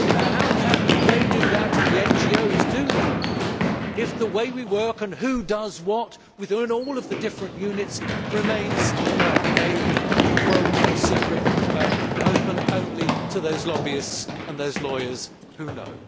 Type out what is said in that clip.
How can they do that and the NGOs do that if the way we work and who does what within all of the different units remains a well kept secret, open only to those lobbyists and those lawyers who know?